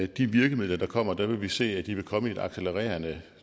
de virkemidler der kommer vil vi se at de vil komme i et accelererende